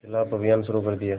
के ख़िलाफ़ अभियान शुरू कर दिया